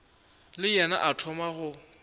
le yena a thoma go